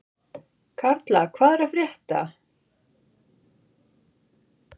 Karla, hvað er að frétta?